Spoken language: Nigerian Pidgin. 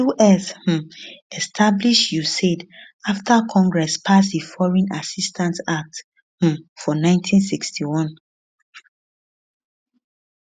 us um establish usaid afta congress pass di foreign assistance act um for 1961